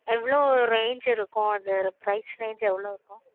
எவளோ range இருக்கும் அது price range எவளோ இருக்கும்